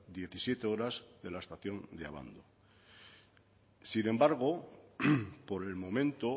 diecisiete horas de la estación de abando sin embargo por el momento